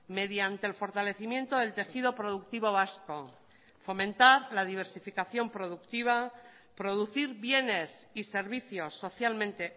mediante el fortalecimiento del tejido productivo vasco fomentar la diversificación productiva producir bienes y servicios socialmente